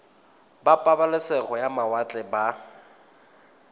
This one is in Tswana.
ba pabalesego ya mawatle ba